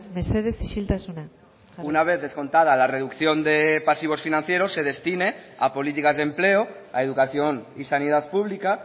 mesedez isiltasuna una vez descontada la reducción de pasivos financieros se destine a políticas de empleo a educación y sanidad pública